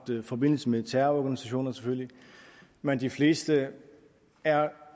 forbindelse med terrororganisationer men de fleste er